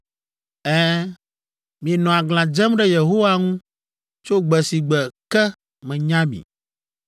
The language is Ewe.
Ɛ̃, mienɔ aglã dzem ɖe Yehowa ŋu tso gbe si gbe ke menya mi,